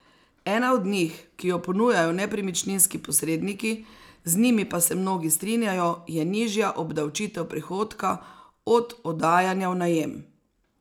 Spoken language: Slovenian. Ena od njih, ki jo ponujajo nepremičninski posredniki, z njimi pa se mnogi strinjajo, je nižja obdavčitev prihodka od oddajanja v najem.